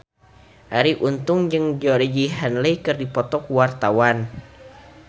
Arie Untung jeung Georgie Henley keur dipoto ku wartawan